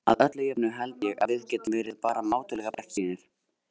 Að öllu jöfnu held ég að við getum verið bara mátulega bjartsýnir.